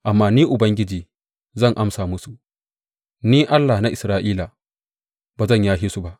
Amma Ni Ubangiji zan amsa musu; Ni, Allah na Isra’ila, ba zan yashe su ba.